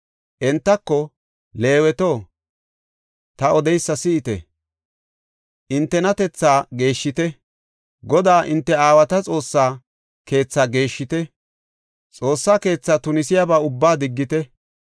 Entako, “Leeweto, ta odeysa si7ite! Hintenatethaa geeshshite; Godaa hinte aawata Xoossa keethaa geeshshite; Xoossa keethaa tunisiyaba ubbaa diggite.